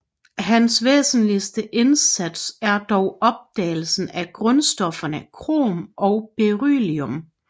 Hans væsentligste indsats er dog opdagelsen af grundstofferne krom og beryllium